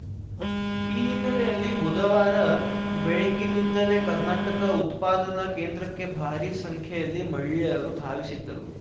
ಈ ಹಿನ್ನೆಲೆಯಲ್ಲಿ ಬುಧವಾರ ಬೆಳಗ್ಗಿನಿಂದಲೇ ಕರ್ನಾಟಕ ಉತ್ಪಾದನಾ ಕೇಂದ್ರಕ್ಕೆ ಭಾರೀ ಸಂಖ್ಯೆಯಲ್ಲಿ ಮಹಿಳೆಯರು ಧಾವಿಸಿದ್ದರು